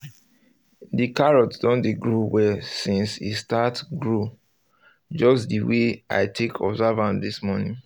the carrots don dey grow well since e start grow just the way i take observe am this morning